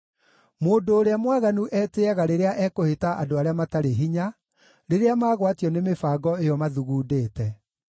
Mũndũ ũrĩa mwaganu etĩĩaga rĩrĩa ekũhĩta andũ arĩa matarĩ hinya, rĩrĩa magwatio nĩ mĩbango ĩyo mathugundĩte.